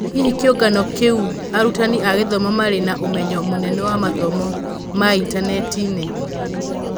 Hihi kĩũngano kia arutani a gĩthomo marĩ na ũmenyo mũnene wa mathomo ma intaneti-inĩ ?